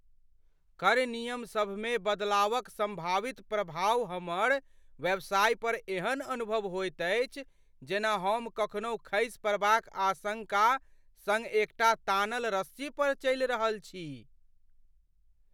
कर नियमसभमे बदलावक सम्भावित प्रभाव हमर व्यवसाय पर एहन अनुभव होइत अछि जेना हम कखनहु खसि पड़बाक आशंका सङ्ग एकटा तानल रस्सी पर चलि रहल छी।